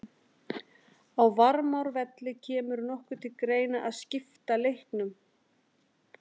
Á Varmárvelli Kemur nokkuð til greina að skipta leiknum?